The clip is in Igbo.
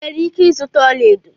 Ị nwere ike ịzụta ọlaedo